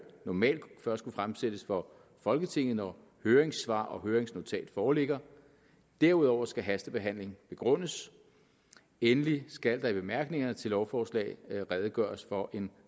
normalt først kunne fremsættes for folketinget når høringssvar og høringsnotat foreligger derudover skal hastebehandling begrundes endelig skal der i bemærkningerne til lovforslaget redegøres for en